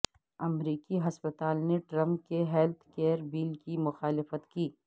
امریکی ہسپتال نے ٹرمپ کے ہیلتھ کیئر بل کی مخالفت کی